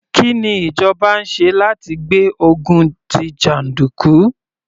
Kí ni ìjọba ń ṣe láti gbé ogun tí jàndùkú?